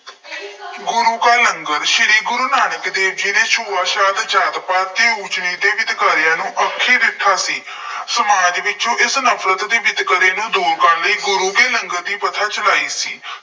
ਗੁਰੂ ਕਾ ਲੰਗਰ- ਸ਼੍ਰੀ ਗੁਰੂ ਨਾਨਕ ਦੇਵ ਜੀ ਨੇ ਛੂਆ-ਛਾਤ, ਜਾਤ-ਪਾਤ, ਅਤੇ ਊਚ-ਨੀਚ ਦੇ ਵਿਤਕਰਿਆਂ ਨੂੰ ਸੀ। ਸਮਾਜ ਵਿੱਚੋਂ ਇਸ ਨਫਰਤ ਦੇ ਵਿਤਕਰੇ ਨੂੰ ਦੂਰ ਕਰਨ ਲਈ ਗੁਰੂ ਕੇ ਲੰਗਰ ਦੀ ਪ੍ਰਥਾ ਚਲਾਈ ਸੀ।